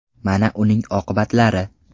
Mana uning oqibatlari .